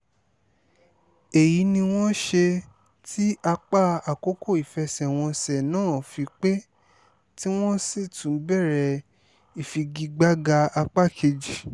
èyí ni wọ́n ṣe tí apá àkọ́kọ́ ìfẹsẹ̀wọnsẹ̀ náà fi pé tí wọ́n sì tún bẹ̀rẹ̀ ìfigagbága apá kejì